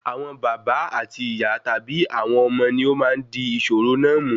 Àwọn bàbá àti ìyá tàbí ọmọ wọn ni ọ máa n di ìṣòro náà mú